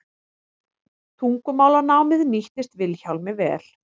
Tungumálanámið nýttist Vilhjálmi vel.